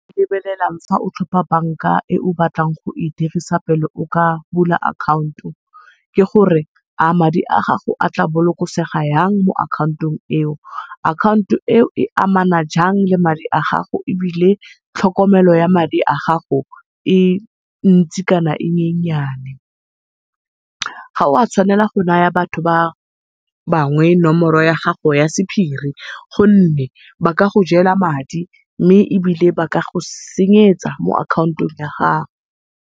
Lebelelang fa o tlhopha bank-a e o batlang go e dirisa pele o ka bula account-o, ke gore a madi a gago a tla bolokosega yang mo account-ong e o. Account-o e o e amana jang le madi a gago ebile tlhokomelo ya madi a gago e ntsi kana e nyenyane. Ga wa tshwanela go naya batho ba bangwe nomoro ya gago ya sephiri gonne ba ka go jela madi, mme ebile ba ka go senyetsa mo account-ong ya gago.